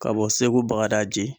Ka bɔ Segu Bagadaji